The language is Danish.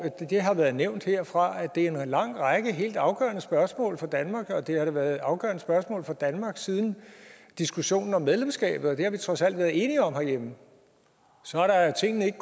det har været nævnt herfra at det er en lang række helt afgørende spørgsmål for danmark og det har været afgørende spørgsmål for danmark siden diskussionen om medlemskabet og det har vi trods alt været enige om herhjemme så er tingene ikke